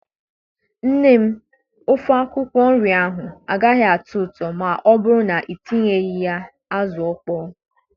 Nne m ofe akwukwo nria agaghị atọ ụtọ ma ọ bụrụ na ị tinyeghị ya azụ ọkpọ.